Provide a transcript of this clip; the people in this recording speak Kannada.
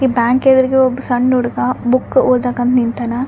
ಈ ಬ್ಯಾಂಕ್ ಎದ್ರಿಗೆ ಒಬ್ ಸಣ್ಣ ಹುಡ್ಗ ಬುಕ್ ಓದಾಕ ಅಂತ ನಿಂತಾನ.